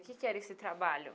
Que que era esse trabalho?